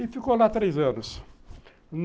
E ficou lá três anos.